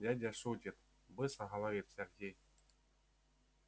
дядя шутит быстро говорит сергей